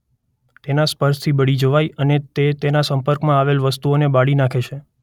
તેના સ્પર્શથી બળી જવાય અને તે તેના સંપર્કમાં આવેલ વસ્તુઓને બાળી નાખે છે.